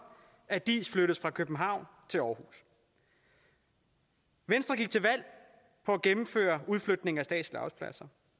at diis flyttes fra københavn til aarhus venstre gik til valg på at gennemføre udflytningen af statslige arbejdspladser